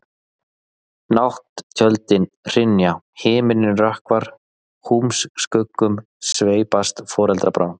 Nátt-tjöldin hrynja, himininn rökkvar, húmskuggum sveipast foldarbrá.